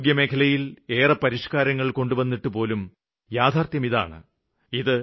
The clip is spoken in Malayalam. ആരോഗ്യമേഖലയില് ഏറെ പരിഷ്കാരങ്ങള് കൊണ്ടുവന്നിട്ടുപോലും യാഥാര്ത്ഥ്യമിതാണ്